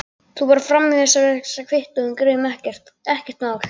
Þú bara framvísar þessari kvittun og við greiðum, ekkert mál.